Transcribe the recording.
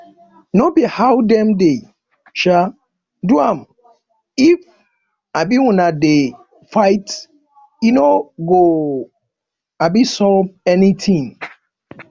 no be how dem dey um do am if um una dey fight e no go um solve anything